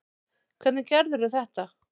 Hvernig gerðirðu þetta?